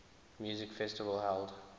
music festival held